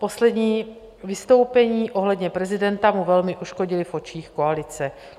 Poslední vystoupení ohledně prezidenta mu velmi uškodila v očích koalice.